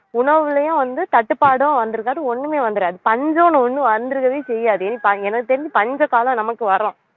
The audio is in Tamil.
உணவுலையும் வந்து தட்டுப்பாடும் வந்திருக்காது ஒண்ணுமே வந்திராது பஞ்சம்னு ஒண்ணு வந்திருக்கவே செய்யாது ஏன்னா எனக்கு தெரிஞ்சு பஞ்சகாலம் நமக்கு வரும்